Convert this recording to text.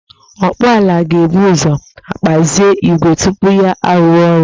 Ọkpụ ọla ga-ebu uzo gbazee igwe tupu ya arụwa ọrụ